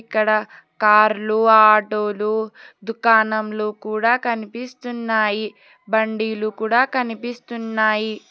ఇక్కడ కార్లు ఆటోలు దుకాణములు కూడా కనిపిస్తున్నాయి బండీలు కూడా కనిపిస్తున్నాయి.